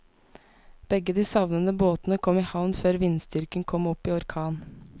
Begge de savnede båtene kom i havn før vindstyrken kom opp i orkan.